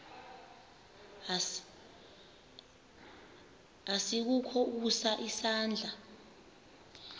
asikukho ukusa isandla